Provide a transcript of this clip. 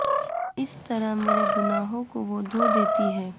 اس طرح میرے گناہوں کو وہ دھو دیتی ہے